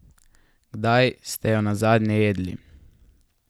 Kdaj ste jo nazadnje jedli?